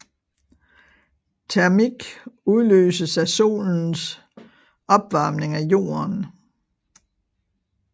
Termik udløses af solens opvarmning af jorden